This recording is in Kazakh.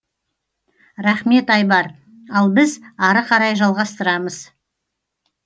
рахмет айбар ал біз ары қарай жалғастырамыз